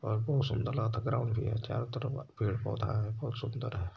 सुन्दर लागता ग्राउंड भी है चारो तरफ पेड़-पौधा हैं बहुत सुन्दर है।